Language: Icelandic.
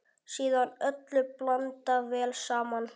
Síðan öllu blandað vel saman.